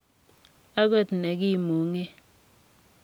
ak got ne kimung'e.